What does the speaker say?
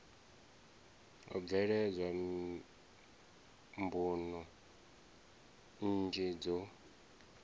ho bveledzwa mbuno nnzhi dzo